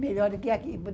Melhor do que aqui.